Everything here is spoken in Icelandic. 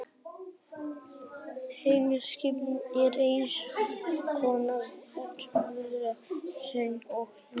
Heimspekin er eins konar útvörður mannlegrar skynsemi og eðlileg framlenging á vísindalegri viðleitni mannsins.